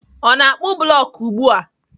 Ọ na-akpụ blọk ugbu a?